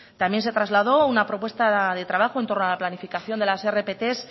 también se trasladó una propuesta de trabajo en torno a la planificación de las rpt